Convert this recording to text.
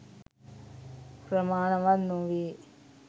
ප්‍රමාණවත් නොවේ.